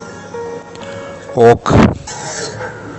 ок